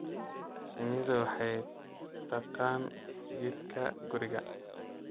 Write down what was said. Shinnidu waxay taqaan jidka guriga.